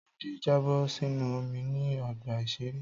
Tádé jábọ̀ sínú omi ní ọgbà-ìṣeré